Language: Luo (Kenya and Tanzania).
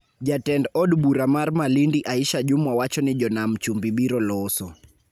Jatend od bura mar Malindi Aisha Jumwa wacho ni jo Nam Chumbi biro loso